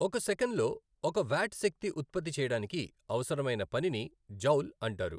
ఒక సెకన్లో ఒక వ్యాట్ శక్తి ఉత్పత్తి చేయడానికి అవసరమైన పనిని జౌల్ అంటారు.